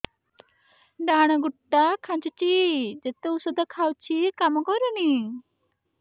ଡାହାଣ ଗୁଡ଼ ଟା ଖାନ୍ଚୁଚି ଯେତେ ଉଷ୍ଧ ଖାଉଛି କାମ କରୁନି